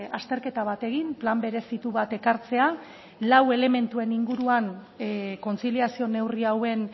azterketa bat egin plan berezitu bat ekartzea lau elementuen inguruan kontziliazio neurri hauen